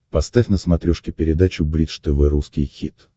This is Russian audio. поставь на смотрешке передачу бридж тв русский хит